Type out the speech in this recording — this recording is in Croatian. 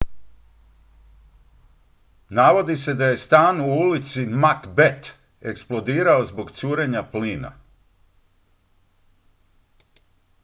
navodi se da je stan u ulici macbeth eksplodirao zbog curenja plina